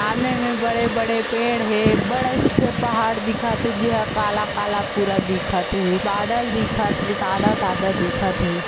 सामने में बड़े-बड़े पेड़ हे बड़़े से पहाड़ दिखत हे जे ह काला- काला पूरा दिखत हे बादल दिखत हे सादा- सादा दिखत हे--